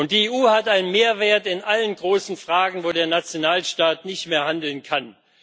Die EU hat einen Mehrwert in allen großen Fragen, wo der Nationalstaat nicht mehr handeln kann.